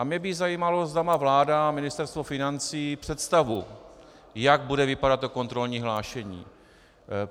A mě by zajímalo, zda má vláda a Ministerstvo financí představu, jak bude vypadat to kontrolní hlášení.